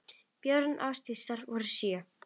Börn Ásdísar voru sjö.